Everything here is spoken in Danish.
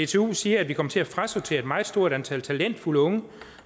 dtu siger at vi kommer til at frasortere et meget stort antal talentfulde unge